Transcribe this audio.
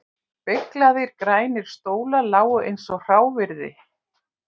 Beyglaðir grænir stólar lágu eins og hráviði út um allt